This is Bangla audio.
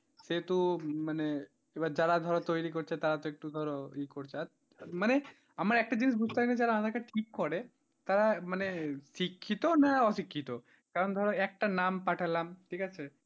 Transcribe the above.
সেহেতু মানে এবার যারা ধরো তৈরি করছে তারা তো একটু ধরো ইয়ে করছে আর মানে আমরা একটা জিনিস বুঝতে পারিনা মানে যারা aadhaar card ঠিক করে তারা মানে শিক্ষিত না অশিক্ষিত কারণ ধরো একটা নাম পাঠালাম ঠিক আছে।